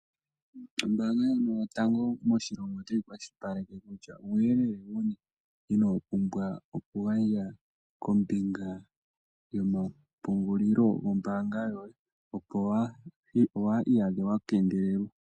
Ombaanga yotango moshilongo otayi kwashilipaleke kutya uuyelele wuni ino pumbwa okugandja, kombinga yomapungulilo gombaanga yoye, opo waa iyadhe wa kengelelwa.